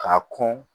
K'a kɔn